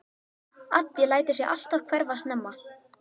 Addi lætur sig alltaf hverfa snemma.